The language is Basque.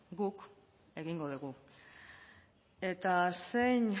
guk egingo dugu eta zein